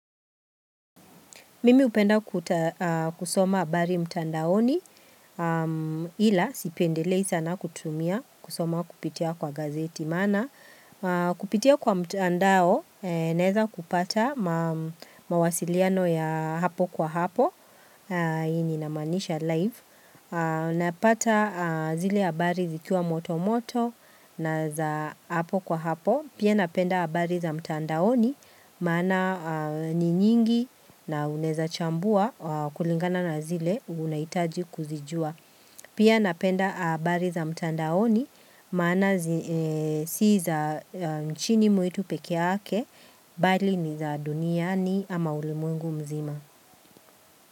Mimi hupenda kusoma habari mtandaoni ila sipendelei sana kutumia kusoma kupitia kwa gazeti maana. Kupitia kwa mtandao naweza kupata mawasiliano ya hapo kwa hapo. Hii inamaanisha live. Napata zile habari zikiwa moto moto na za hapo kwa hapo. Pia napenda habari za mtandaoni maana ni nyingi na unaweza chambua kulingana na zile unahitaji kuzijua. Pia napenda abari za mtandaoni maana si za nchini mwitu peke yake bali ni za duniani ama ulimwengu mzima.